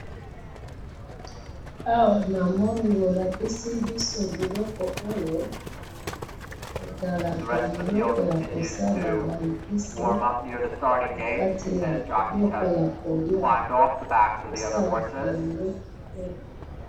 awa namoni bolakisi biso biloko oyo ezalaka biloko ya kosala ba epice na kati ya biloko ya koliya esalaka biloko kitoko